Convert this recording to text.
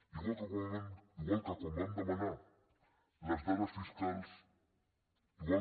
igual que quan van demanar les dades fiscals igual